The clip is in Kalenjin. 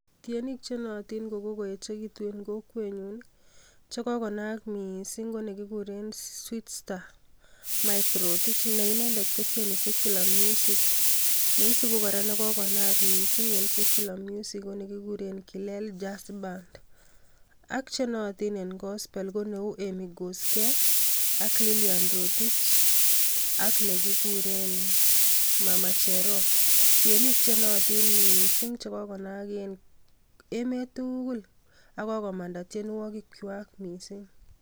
Tienik che nootin kokoechekitun en kokwenyun ii che kokonaak mising ko ne kikuren sweetstar Mike Rotich ne inendet kotieni secular music, neisubi kora ne kokonaak mising en secular music ko nekikuren Kilel jazz band, ak che nootin en gospel ko neu Emmy Kosgei ak Lilian Rotich ak nekikuren mama Cherop, tienik che nootin mising che kokonaak en emet tugul ak kokomanda tienwogichwak mising.